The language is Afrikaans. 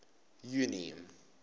junie